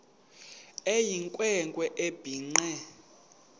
eyinkwe nkwe ebhinqe